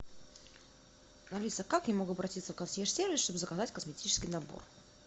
алиса как я могу обратиться в консьерж сервис чтобы заказать косметический набор